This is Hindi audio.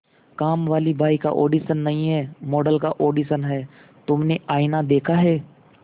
कामवाली बाई का ऑडिशन नहीं है मॉडल का ऑडिशन है तुमने आईना देखा है